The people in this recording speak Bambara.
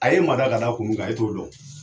A ye mada ka da kun min kan, e ye t'o dɔn